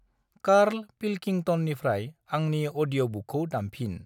Carl पिलकिंतननिफ्राय आंनि अदिय'बुकखौ दामफिन।